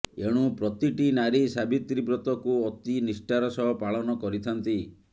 ଏଣୁ ପ୍ରତିଟି ନାରୀ ସାବିତ୍ରୀ ବ୍ରତକୁ ଅତି ନିଷ୍ଠାର ସହ ପାଳନ କରିଥାନ୍ତି